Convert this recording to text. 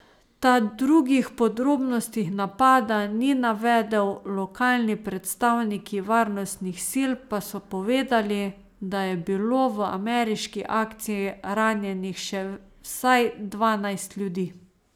Ta drugih podrobnosti napada ni navedel, lokalni predstavniki varnostnih sil pa so povedali, da je bilo v ameriški akciji ranjenih še vsaj dvanajst ljudi.